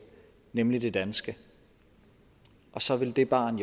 nemlig det danske og så vil det barn